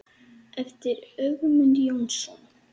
eftir Ögmund Jónsson